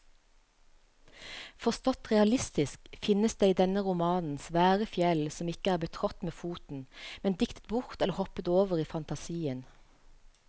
Forstått realistisk finnes det i denne romanen svære fjell som ikke er betrådt med foten, men diktet bort eller hoppet over i fantasien.